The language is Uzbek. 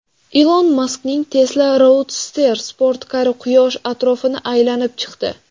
Ilon Maskning Tesla Roadster sportkari Quyosh atrofini aylanib chiqdi.